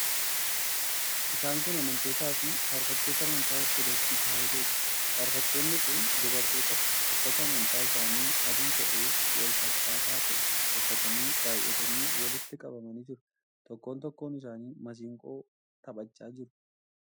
Isaan kun amantootaa fi faarfattoota amantaa Ortodoksii Tewaahidooti. Faarfattoonni kun dubartootadha. Uffata amantaa isaanii adii ta'e wal fakkaataa ta'e uffatanii baay'atanii walitti qabamanii jiru. Tokkoon tokkoon isaanii masiinqoo taphachaa jiru.